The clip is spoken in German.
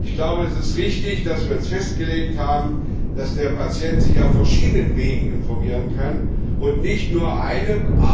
Ich glaube, es ist richtig, dass wir uns festgelegt haben, dass der Patient sich auf verschiedenen Wegen informieren kann und nicht nur einem.